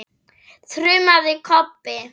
þrumaði Kobbi.